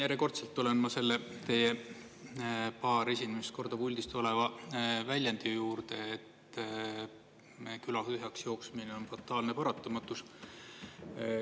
Järjekordselt tulen ma teie paar esimest korda puldist tuleva väljendi juurde, et küla tühjaksjooksmine on fataalne paratamatus.